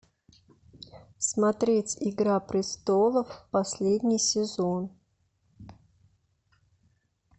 смотреть игра престолов последний сезон